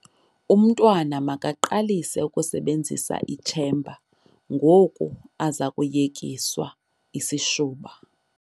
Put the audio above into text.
Umntwna makaqalise ukusebenzisa itshemba ngoku aze kuyekiswa isishuba.